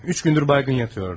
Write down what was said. Üç gündür huşsuz yatırdı.